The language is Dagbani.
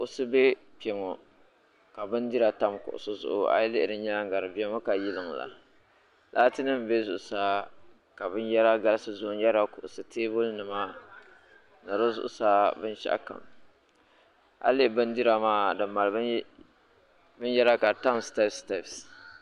kuɣusi be kpɛ ŋɔ ka bindira tam kuɣusi zuɣu a yi lihi di nyaaŋa di bemi ka yiliŋ la lati nim bɛ zuɣusaa ka binyɛra galisi n yɛrila kuɣusi tɛbuli nima ni di zuɣusaa binshɛɣu kam a yuli bindira maa di mali binyɛra ka tam steps steps.